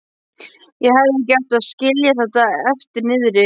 Ég hefði ekki átt að skilja þetta eftir niðri.